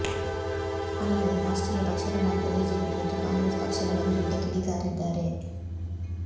ಅಲ್ಲದೆ ರಾಷ್ಚ್ರೀಯ ಪಕ್ಷಗಳಾದ ಬಿಜೆಪಿ ಮತ್ತು ಕಾಂಗ್ರೆಸ್ ಪಕ್ಷಗಳ ವಿರುದ್ಧ ಕಿಡಿಕಾರಿದ್ದಾರೆ